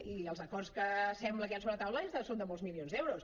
i els acords que sembla que hi han sobre la taula són de molts milions d’euros